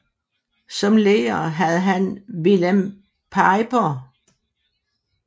Som lærer havde han Willem Pijper